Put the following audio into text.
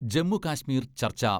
ജമ്മു കാശ്മീർ ചർച്ച